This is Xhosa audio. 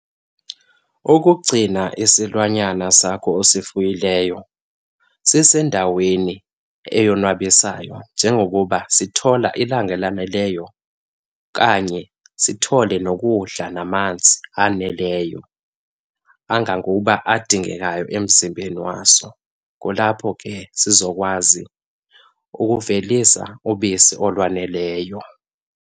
Ukugcina isilwanyana sakho osifuyileyo sisendaweni eyonwabisayo njengokuba sithola ilanga elaneleyo okanye sithole nokudla namanzi aneleyo angangokuba adingekayo emzimbeni waso, kulapho ke sizokwazi ukuvelisa ubisi olwaneleyo.